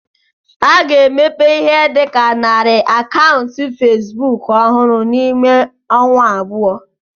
A ga-emepụta Ihe dị ka narị akaụntụ facebook ọhụrụ n'ime ọnwa abụọ